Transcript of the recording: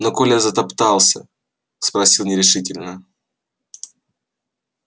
но коля затоптался спросил нерешительно